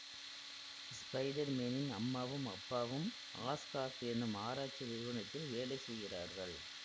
spider மேனின் அம்மாவும் அப்பாவும் ஆஸ்கார்ப் எனும் ஆராய்ச்சி நிறுவனத்தில் வேலை செய்கிறார்கள்